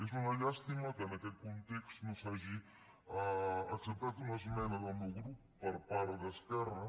és una llàstima que en aquest context no s’hagi acceptat una esmena del meu grup per part d’esquerra